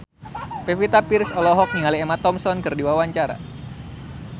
Pevita Pearce olohok ningali Emma Thompson keur diwawancara